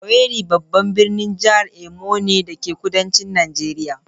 Owerri babban birnin jihar Imo ne, dake kudancin Najeriya.